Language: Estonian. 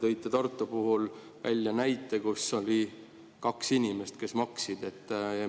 Te tõite Tartu puhul näite, kus oli kaks inimest, kes maksid.